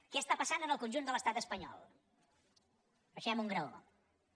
què està passant en el conjunt de l’estat espanyol baixem un graó